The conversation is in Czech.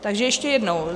Takže ještě jednou.